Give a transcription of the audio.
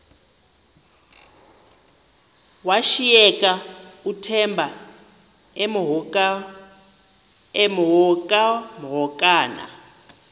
washiyeka uthemba emhokamhokana